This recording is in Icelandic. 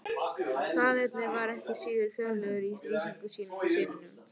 Faðirinn var ekki síður fjörlegur í lýsingum sínum á syninum.